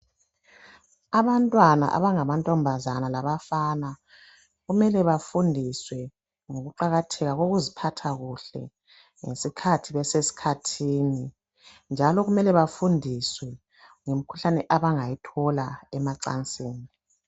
Abantwana abangamantombazana labafana kumele bafundiswe ukuqakatheka kokuziphatha kuhle ngesikhathi besesikhathini njalo kumele bafundiswe ngemikhuhlane abangayithola emacansini.